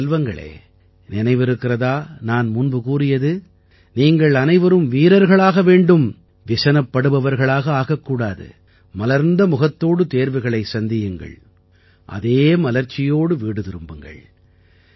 என் செல்வங்களே நினைவிருக்கிறதா நான் முன்பு கூறியது நீங்கள் அனைவரும் வீரர்களாக வேண்டும் விசனப் படுபவர்களாக ஆகக் கூடாது மலர்ந்த முகத்தோடு தேர்வுகளைச் சந்தியுங்கள் அதே மலர்ச்சியோடு வீடு திரும்புங்கள்